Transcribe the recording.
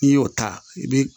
N'i y'o ta i bi